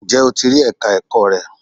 Ǹjẹ́ o ti rí Ẹ̀ka ẹ̀kọ́ rẹ?